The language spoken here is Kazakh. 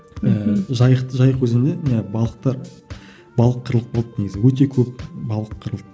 ііі жайық жайық өзенде не балықтар балық қырылып қалды негізі өте көп балық қырылды